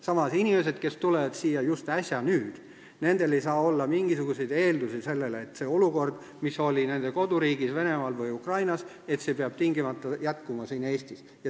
Samas, inimestel, kes on äsja siia tulnud, ei saa olla mingisuguseid eeldusi, et samasugune olukord, mis oli nende koduriigis Venemaal või Ukrainas, peab tingimata jätkuma siin Eestis.